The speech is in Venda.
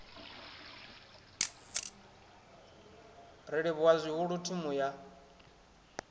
ri livhuwa zwihulu thimu ya